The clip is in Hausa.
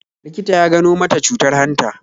Likita ya gano mata cutar hanta